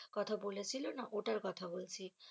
কথা বলেছিল না ওটার কথা বলছি।